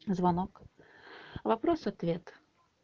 звонок вопрос ответ